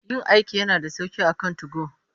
Yin aiki yana da sauƙi akan 2go.